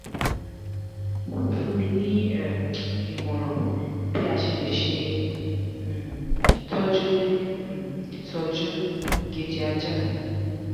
fún mi ní um ìmòràn bí a ṣe le um tọ́jú le um itọ́jú ìgéjẹ ajá?